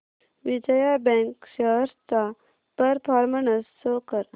Vijaya bank shares चा performance show कर